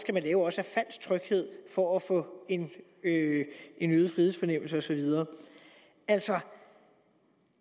falsk tryghed for at få en en øget frihedsfornemmelse og så videre altså